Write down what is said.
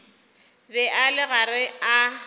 be a le gare a